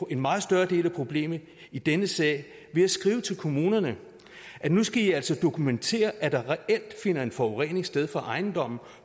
en meget større del af problemet i denne sag ved at skrive til kommunerne at nu skal i altså dokumentere at der reelt finder forurening sted fra ejendommen